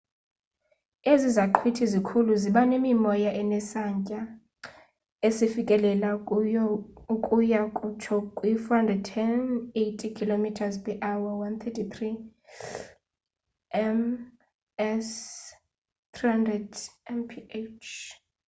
ezi zaqhwithi zikhulu ziba nemimoya enesantya esifikelela ukuya kutsho kwi-480 km/h 133 m/s; 300 mph